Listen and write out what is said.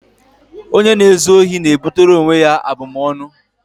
Onye na-ezu ohi na-ebutere onwe ya abụmaọnụ.